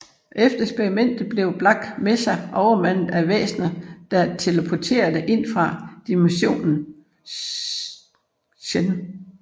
Efter eksperimentet bliver Black Mesa overmandet af væsener der teleporterer ind fra dimensionen Xen